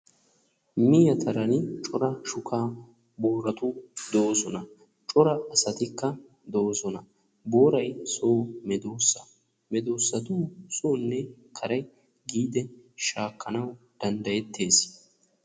mehe taran cora shuka boorati doosona, cora asatikka doosona, booray so medoossa. medoossatu sonne kare giidi shaakkanaw danddayettes.